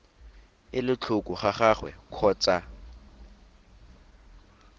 ele tlhoko ga gagwe kgotsa